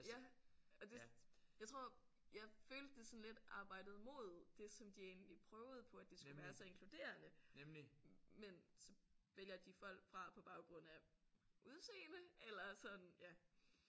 Ja og det jeg tror jeg følte det sådan lidt arbejdede mod det som de egentlig prøvede på at det skulle være så inkluderende men så vælger de folk fra på baggrund af udseende eller sådan ja